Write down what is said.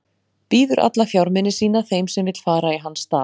Býður alla fjármuni sína þeim sem vill fara í hans stað.